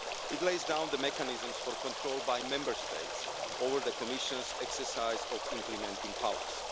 It lays down the mechanisms for control by Member States over the Commission's exercise of implementing powers.